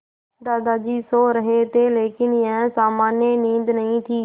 दादाजी सो रहे थे लेकिन यह सामान्य नींद नहीं थी